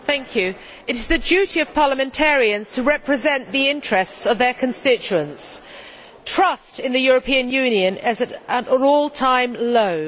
Mr President, it is the duty of parliamentarians to represent the interests of their constituents. Trust in the European Union is at an all time low.